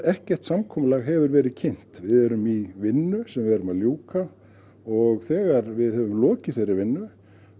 ekkert samkomulag hefur verið kynnt við erum í vinnu sem við erum að ljúka og þegar við höfum lokið þeirri vinnu